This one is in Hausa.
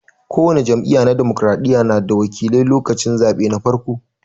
Ko wani jam'iyya na dimokiraɗiya na da wakilai lokacin zaɓe na farko.